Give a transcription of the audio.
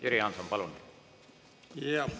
Jüri Jaanson, palun!